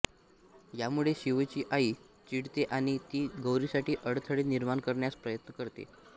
यामुळे शिवची आई चिडते आणि ती गौरीसाठी अडथळे निर्माण करण्याचा प्रयत्न करते